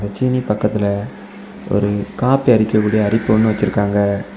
சீனி பக்கத்துல ஒரு காப்பி அரிக்கக்கூடிய அரிப்பு ஒன்னு வச்சிருக்காங்க.